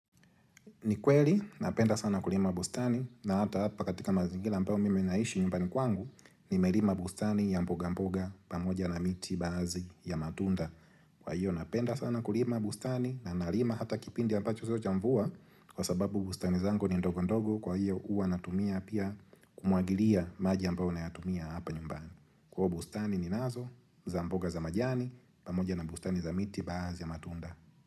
Ni kweli napenda sana kulima bustani na hata hapa katika mazingira ambayo mimi naishi nyumbani kwangu nimelima bustani ya mboga mboga pamoja na miti baazi ya matunda. Kwa hiyo ninapenda sana kulima bustani na ninalima hata kipindi ambacho siyo cha mvua kwa sababu bustani zangu ni ndogo ndogo kwa hiyo huwa natumia pia kumuagilia maji ambayo nayatumia hapa nyumbani. Ko bustani ni nazo za mboga za majani pamoja na bustani za miti baadhi ya matunda.